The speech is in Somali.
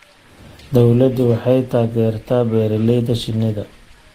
Dawladdu waxay taageertaa beeralayda shinnida.